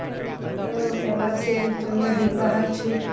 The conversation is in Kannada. ಹ್ಮ್ ಎಲ್ಲಾರು ಸೇರಿ ಚಂದ ದೀಪಾ ಹಚ್ಚಿ.